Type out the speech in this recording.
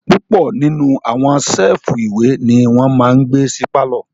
Púpọ̀ nínú àwọn séèfù ìwé ní wọ́n máa n gbé sí pálọ̀